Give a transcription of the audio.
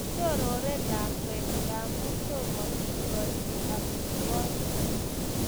Shorore lakwet ngamun tomo kikachi amitwakik